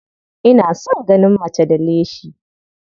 Ina son ganin mace da leshi.